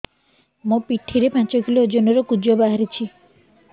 ମୋ ପିଠି ରେ ପାଞ୍ଚ କିଲୋ ଓଜନ ର କୁଜ ବାହାରିଛି